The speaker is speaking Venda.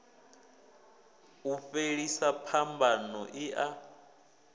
u fhelisa phambano i a